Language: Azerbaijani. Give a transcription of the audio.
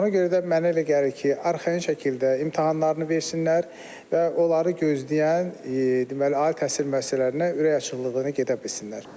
Ona görə də mənə elə gəlir ki, arxayın şəkildə imtahanlarını versinlər və onları gözləyən deməli, ali təhsil müəssisələrinə ürək açıqlığı ilə gedə bilsinlər.